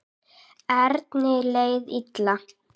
Erni leið illa.